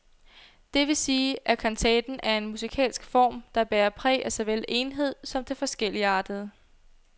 Det vil sige, at kantaten er en musikalsk form, der bærer præg af såvel enhed som det forskelligartede.